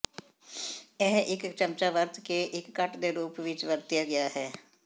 ਇਹ ਇੱਕ ਚਮਚਾ ਵਰਤ ਕੇ ਇੱਕ ਕੱਟ ਦੇ ਰੂਪ ਵਿਚ ਵਰਤਿਆ ਗਿਆ ਹੈ